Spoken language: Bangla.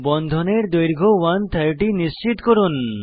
বন্ধনের দৈর্ঘ্য 130 নিশ্চিত করুন